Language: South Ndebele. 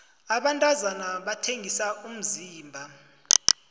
abantazana bathengisa umzimba